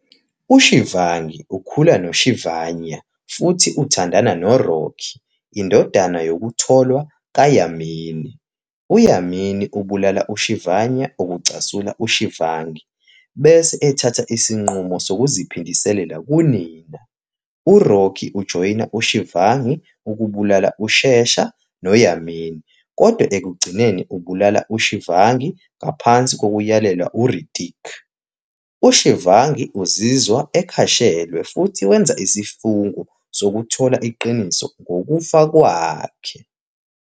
UShivangi ukhula noShivanya futhi uthandana noRocky, indodana yokutholwa kaYamini. UYamini ubulala uShivanya okucasula uShivangi bese ethatha isinqumo sokuziphindiselela kunina. URocky ujoyina uShivangi ukubulala uShesha noYamini, kodwa ekugcineni ubulala uShivangi ngaphansi kokuyalelwa nguRitik. UShivangi uzizwa ekhashelwe futhi wenza isifungo sokuthola iqiniso ngokufa kwakhe.